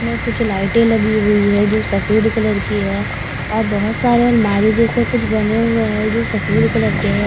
में कुछ लाईटे लगी हुई है जो सफेद कलर की है और बहोत सारे अलमारी जैसे कुछ बने हुए है जो सफेद कलर के है ।